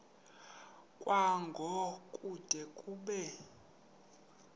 kwango kude kube